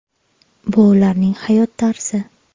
Bu ularning hayot tarzi.